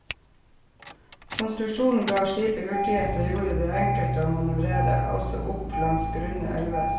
Konstruksjonen ga skipet hurtighet og gjorde det enkelt å manøvrere, også opp langs grunne elver.